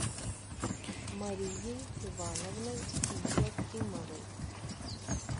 марией ивановной якимовой